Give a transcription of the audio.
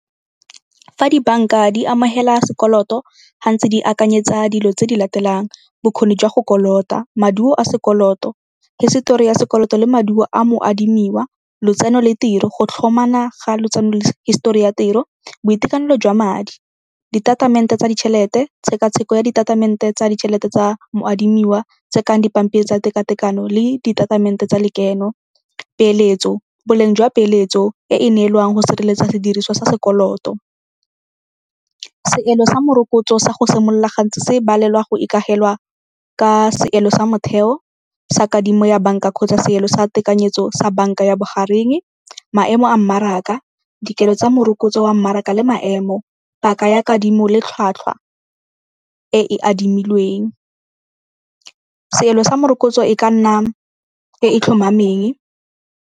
Fa dibanka di amogela sekoloto, gantsi di akanyetsa dilo tse di latelang, bokgoni jwa go kolota, maduo a sekoloto, hisetori ya sekoloto le maduo a moadimiwa, lotseno le tiro, go ga lotseno le hisetori ya tiro, boitekanelo jwa madi, ditatamente tsa ditšhelete, tshekatsheko ya ditatamente tsa ditšhelete tsa moadimiwa tse kang dipampiri tsa teka-tekano le ditatamente tsa lekeno, peeletso, boleng jwa peeletso e e neelwang go sireletsa sediriswa sa sekoloto. Seelo sa morokotso sa go simolola gantsi se balelwa go ikagelwa ka seelo sa motheo sa kadimo ya banka kgotsa seelo sa tekanyetso sa banka ya bogareng, maemo a mmaraka, dikelo tsa morokotso wa mmaraka le maemo, paka ya kadimo le tlhwatlhwa e e adimilweng. Seelo sa morokotso e ka nna e e tlhomameng.